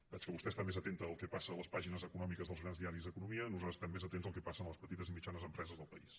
veig que vostè està més atenta del que passa a les pàgines econòmiques dels grans diaris d’economia nosaltres estem més atents del que passa a les petites i mitjanes empreses del país